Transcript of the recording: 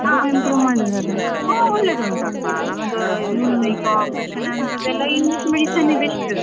ತುಂಬ improve ಮಾಡಿದ್ದಾರೆ.